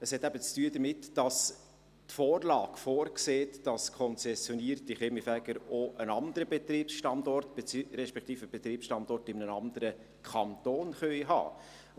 – Es hat eben damit zu tun, dass die Vorlage vorsieht, dass konzessionierte Kaminfeger auch einen anderen Betriebsstandort, respektive einen Betriebsstandort in einem anderen Kanton haben können.